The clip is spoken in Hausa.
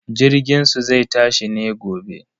Jirginsu zai tashi ne gobe.